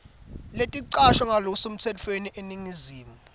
leticashwe ngalokusemtsetfweni eningizimu